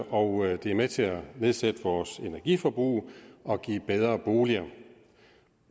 og det er med til at nedsætte vores energiforbrug og give bedre boliger